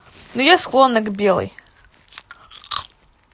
ну я склонна к белой